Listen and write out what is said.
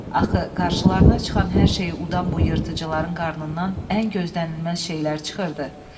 Axı qarşılarına çıxan hər şeyi udan bu yırtıcıların qarnından ən gözdənilməz şeylər çıxırdı.